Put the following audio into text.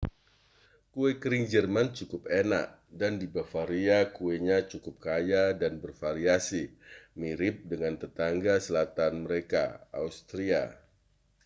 kue kering jerman cukup enak dan di bavaria kuenya cukup kaya dan bervariasi mirip dengan tetangga selatan mereka austria